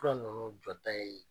Fura ninnu jɔda ye